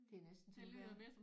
Det er næsten som at være